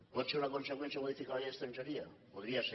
pot ser una conseqüència modificar la llei d’estrangeria ho podria ser